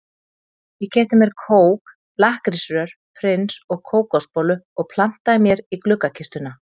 Ég keypti mér kók, lakkrísrör, prins og kókosbollu og plantaði mér í gluggakistuna.